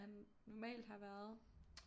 Han normalt har været